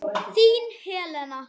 Þín, Helena.